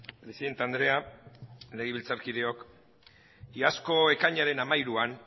presidente andrea legebiltzarkideok iazko ekainaren hamairuan